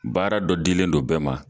Baara dɔ dilen dɔ bɛɛ ma